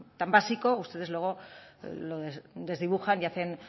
tan básico ustedes luego lo desdibujan y hacen